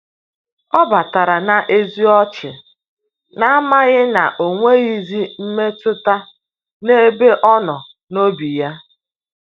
Ọ batara n'eze ọchị, na-amaghị na onweghizi mmetụta n'ebe ọnọ n’obi ya.